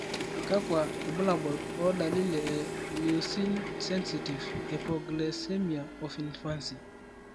kawkwa irbulabol o dalili e Leucine sensitive hypoglycemia of infancy/